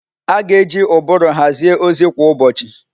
A ga-eji ụbụrụ hazie ozi kwa ụbọchị.